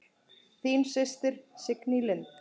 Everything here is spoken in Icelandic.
Þín systir, Signý Lind.